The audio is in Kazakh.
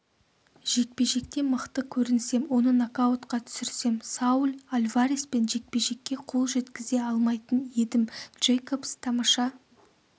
жекпе-жекте мықты көрінсем оны нокаутқа түсірсем сауль альвареспен жекпе-жекке қол жеткізе алмайтын едім джейкобс тамаша